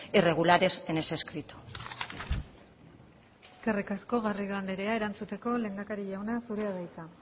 irregulares en ese escrito eskerrik asko garrido andrea erantzuteko lehendakari jauna zurea da hitza